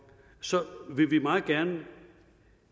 vil vi meget gerne